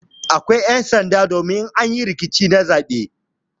Akwai ƴan'sanda domin in an yi rikici na zaɓe.